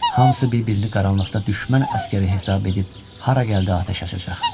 Hamısı bir-birini qaranlıqda düşmən əsgəri hesab edib hara gəldi atəş açacaq.